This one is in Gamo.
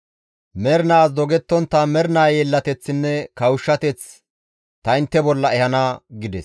Mernaas dogettontta mernaa yeellateththinne kawushshateth ta intte bolla ehana» gides.